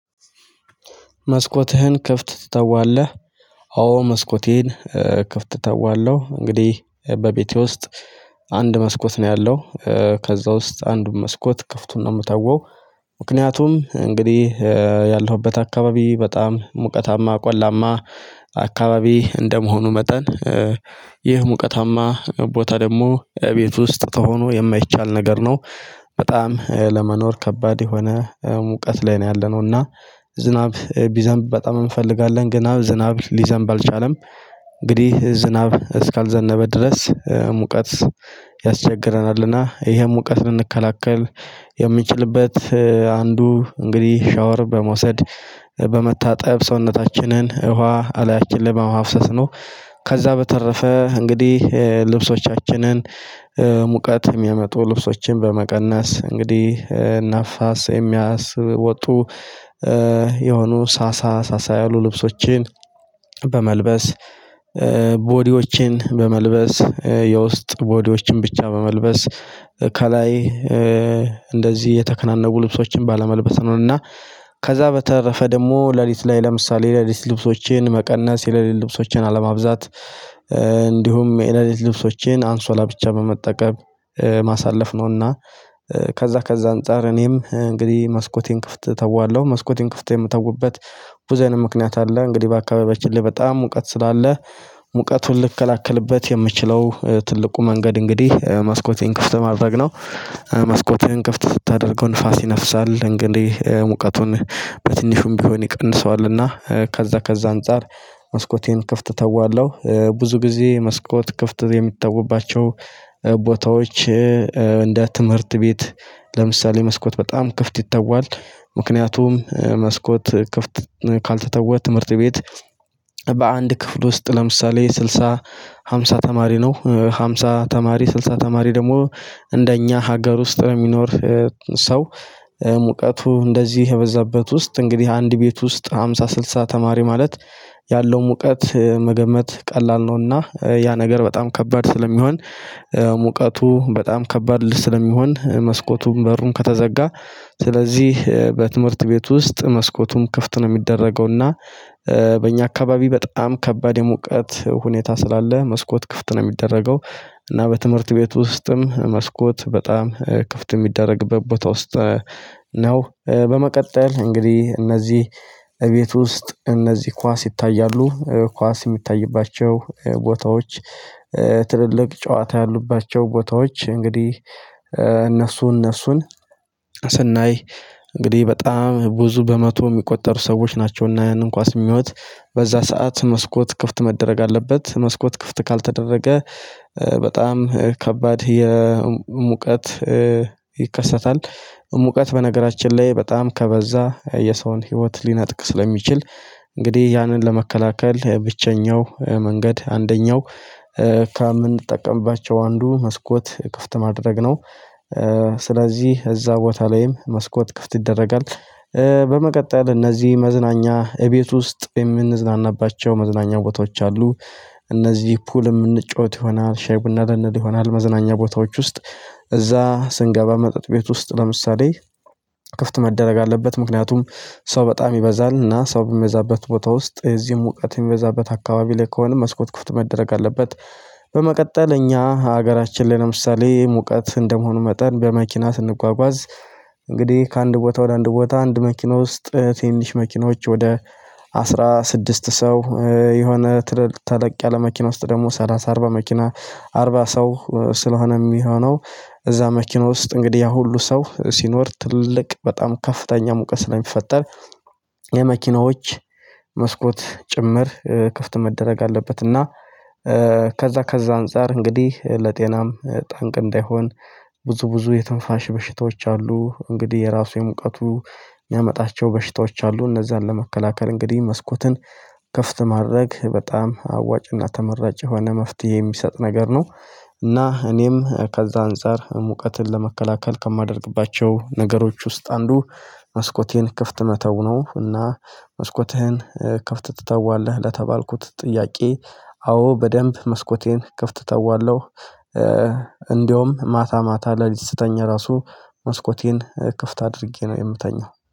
መስኮትህን ክፍት ትተዋለህ አዎ መስኮቴን ክፍት እተዋለው እንግዲህ በቤቴ ውስጥ አንድ መስኮት ነው ያለው ከዛ ውስጥ አንዱን መስኮት ክፍቱን ነው የምተወው። ምክንያቱም እንግዲህ ያለሁበት አካባቢ በጣም ሙቀታማ ቆላማ አካባቢ እንደመሆኑ መጠን ይህ ሙቀታማ ቦታ ደግሞ እቤት ውስጥ ተሆኖ የማይቻል ነገር ነው በጣም ለመኖር ከባድ የሆነ ሙቀት ላይ ነው ያለነው። እና ዝናብ ቢዘንብ በጣም እንፈልጋለን ግን ዝናብ ሊዘንብ አልቻለም። እንግዲህ ዝናብ እስካልዘነበ ድረስ ሙቀት ያስቸግረናልና ይሄም ሙቀት ልንከላከል የምንችልበት አንዱ እንግዲህ ሻወር በመውሰድ በመታጠብ ሰውነታችንን ውሃ እላያችን ላይ በማፋስስ ነው። ከዛ በተረፈ እንግዲህ ልብሶቻችንን ሙቀት የሚያመጡ ልብሶችን በመቀነስ እንግዲህ ነፋስ የሚያስወጡ የሆኑ ሳሳ ሳሳ ያሉ ልብሶችን በመልበስ ቦዲዎችን በመልበስ የውስጥ ቦዲዎችን ብቻ በመልበስ ከላይ እንደዚህ የተከናነቡ ልብሶችን ባለመልበስ ነው። እና ከዛ በተረፈ ደግሞ ሌሊት ላይ ለምሳሌ ሌሊት ልብሶችን መቀነስ የሌሊት ልብሶቼን አለማብዛት እንዲሁም የለሊት ልብሶቼን አንሶላ ብቻ በመጠቀም ማሳለፍ ነውና። ከዛ ከዛ አንፃር እኔም እንግዲህ መስኮቴን ክፍት እተዋለሁ መስኮቴን ክፍት የምተውበት ብዙ አይነት ምክንያት አለ። እንግዲህ በአካባቢዎችን ላይ በጣም ሙቀት ስላለ ሙቀቱን ልከላከልበት የምችለው ትልቁ መንገድ እንግዲህ መስኮቴን ክፍት በማድረግ ነው። መስኮቴን ክፍት ሳደርገው ንፋስ ይነፍሳል እንግዲህ ሙቀቱን በትንሹም ቢሆን ይቀንሰዋልና ከዛ ከዛ አንፃር መስኮቴን ክፍት ተዋለሁ ብዙ ጊዜ መስኮት ክፍት የምትታውባቸው ቦታዎች እንደ ትምህርት ቤት ለምሳሌ መስኮት በጣም ክፍት ይተዋል። ምክንያቱም መስኮት ክፍት ካልተተወ ትምህርት ቤት በአንድ ክፍል ውስጥ ለምሳሌ ስልሳ ሃምሳ ተማሪ ነው ሃምሳ ተማሪ ስልሳ ተማሪ ደግሞ እንደኛ ሀገር ውስጥ ነው የሚኖር። ሰው ሙቀቱ እንደዚህ የበዛበት ውስጥ እንግዲህ አንድ ቤት ውስጥ ሃምሳ ስልሳ ተማሪ ማለት ያለው ሙቀት መገመት ቀላል ነውና። ያ ነገር በጣም ከባድ ስለሚሆን ሙቀቱ በጣም ከባድ ስለሚሆን መስኮቱን በሩን ከተዘጋ ስለዚህ በትምህርት ቤት ውስጥ መስኮቱም ክፍት ነው የሚደረገው እና በእኛ አካባቢ በጣም ከባድ የሙቀት ሁኔታ ስላለ መስኮት ክፍት ነው የሚደረገው። እና በትምህርት ቤት ውስጥም መስኮት በጣም ክፍት የሚደረግበት ቦታ ውስጥ ነው። በመቀጠል እንግዲህ እነዚህ እቤት ውስጥ እነዚህ ኳስ ይታያሉ ኳስ የሚታይባቸው ቦታዎች ትልልቅ ጨዋታ ያሉባቸው ቦታዎች እንግዲህ እነሱ እነሱን ስናይ እንግዲህ በጣም ብዙ በመቶ የሚቆጠሩ ሰዎች ናቸውና ይሄንን ኳስ የሚሆኑት በዛ ሰዓት መስኮት ክፍት መደረግ አለበት መስኮት ክፍት ካልተደረገ በጣም ከባድ የሙቀት ይከሰታል። ሙቀት በነገራችን ላይ በጣም ከበዛ የሰውን ህይወት ሊነጥቅ ስለሚችል እንግዲህ ያንን ለመከላከል ብቸኛው መንገድ አንደኛው ከምንጠቀምባቸው አንዱ መስኮት ክፍት ማድረግ ነው። ስለዚህ እዛ ቦታ ላይም መስኮት ክፍት ይደረጋል። በመቀጠል እነዚህ መዝናኛ እቤት ውስጥ የምንዝናናባቸው መዝናኛ ቦታዎች አሉ። እነዚህ ፑል የምንጫወት ይሆናል ሻይ ቡና ልንል ይሆናል መዝናኛ ቦታዎች ውስጥ እዛ ስንገባ መጠጥ ቤት ውስጥ ለምሳሌ ክፍት መደረግ አለበት ምክንያቱም ሰው በጣም ይበዛል እና ሰው በሚበዛበት ቦታ ውስጥ እዚህ ሙቀት የሚበዛበት አካባቢ ላይ ከሆነ መስኮት ክፍት መደረግ አለበት። በመቀጠል እኛ ሀገራችን ላይ ለምሳሌ ሙቀት እንደመሆኑ መጠን በመኪና ስንጓጓዝ እንግዲህ ከአንድ ቦታ ወደ አንድ ቦታ አንድ መኪና ውስጥ ትንንሽ መኪኖች ወደ አስራ ስድስት ሰው የሆነ ተለቅ ያለ መኪና ውስጥ ደግሞ ሰላሳ አርባ መኪና አርባ ሰው ስለሆነ የሚሆነው። እዛ መኪና ውስጥ እንግዲህ ያ ሁሉ ሰው ሲኖር ትልቅ በጣም ከፍተኛ ሙቀት ስለሚፈጠር የመኪናዎች መስኮት ጭምር ክፍት መደረግ አለበት። እና ከዛ ከዛ አንፃር እንግዲህ ለጤናም ጠንቅ እንዳይሆን ብዙ ብዙ የትንፋሽ በሽታዎች አሉ እንግዲህ የራሱ የሙቀቱ የሚያመጣቸው በሽታዎች አሉ። እነዛን ለመከላከል እንግዲህ መስኮትን ክፍት ማድረግ በጣም አዋጭና ተመራጭ የሆነ መፍትሄ የሚሰጥ ነገር ነው። እና እኔም ከዛ አንፃር ሙቀትን ለመከላከል ከማደርግባቸው ነገሮች ውስጥ አንዱ መስኮቴን ክፍት መተው ነው። እና መስኮትህን ክፍት ትተዋለህ? ለተባልኩት ጥያቄ አዎ በደንብ መስኮቴን ክፍት ተዋለሁ። እንደውም ማታ ማታ ሌሊት ስተኛ ራሱ መስኮቴን ክፍት አድርጌ ነው የምተኛው